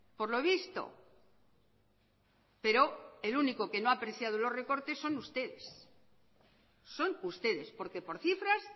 por lo visto pero el único que no ha apreciado los recortes son ustedes son ustedes porque por cifras